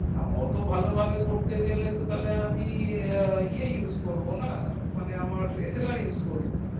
না অটো ভালো ভাবা করতে গেল এ use করবোনা মানে আমার slr use করবো